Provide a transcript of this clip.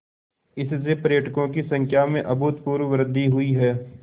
इससे पर्यटकों की संख्या में अभूतपूर्व वृद्धि हुई है